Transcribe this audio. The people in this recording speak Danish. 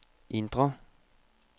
indre